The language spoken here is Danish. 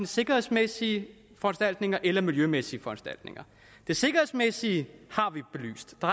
sikkerhedsmæssige foranstaltninger eller miljømæssige foranstaltninger det sikkerhedsmæssige har vi belyst der